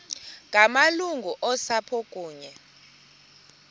ngamalungu osapho kunye